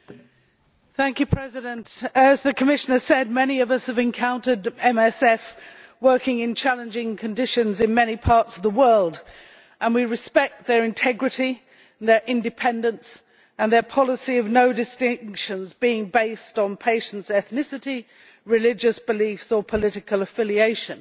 Mr President, as the Commissioner has said, many of us have encountered MSF working in challenging conditions in many parts of the world and we respect their integrity, their independence and their policy of making no distinctions based on patients' ethnicity, religious beliefs, or political affiliation.